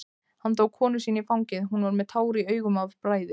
Hann tók konu sína í fangið, hún var með tár í augum af bræði.